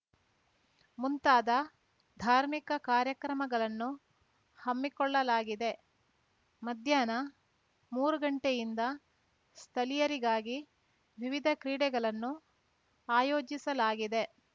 ಮುಂತಾದ ಧಾರ್ಮಿಕ ಕಾರ್ಯಕ್ರಮಗಳನ್ನು ಹಮ್ಮಿಕೊಳ್ಳಲಾಗಿದೆ ಮಧ್ಯಾಹ್ನ ಮೂರು ಗಂಟೆಯಿಂದ ಸ್ಥಳೀಯರಿಗಾಗಿ ವಿವಿಧ ಕ್ರೀಡೆಗಳನ್ನು ಆಯೋಜಿಸಲಾಗಿದೆ